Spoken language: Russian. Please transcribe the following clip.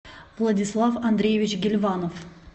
владислав андреевич гильванов